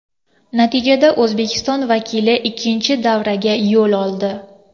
Natijada O‘zbekiston vakili ikkinchi davraga yo‘l oldi.